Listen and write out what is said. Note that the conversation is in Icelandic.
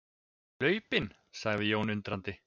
Hlaupinn, sagði Jón undrandi.